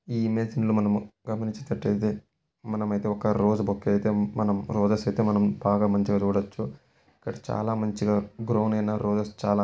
ఈ ఇమేజ్ ని మనము గమనించినట్లయితే మనమైతే ఒక రోస్ బొకే అయితే మనం రోజెస్ ఐతే మనం బాగా మంచిగా చూడొచ్చు ఇక్కడ చాలా మంచిగ గ్రౌండ్ అయినా రోసెస్ చాలా--